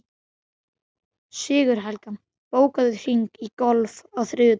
Sigurhelga, bókaðu hring í golf á þriðjudaginn.